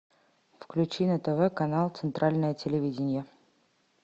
включи на тв канал центральное телевидение